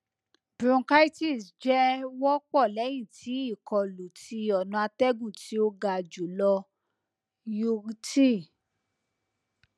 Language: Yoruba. bronchitis jẹ wọ pọ lẹhin ti ikolu ti ọna atẹgun ti o ga julọ yurti